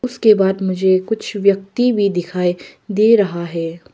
उसके बाद मुझे कुछ व्यक्ति भी दिखाई दे रहा है।